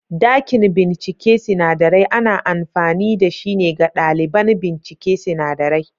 Dakin bincike sinadarai ana amfani da shi ne ga ɗaliban bincike sinadarai.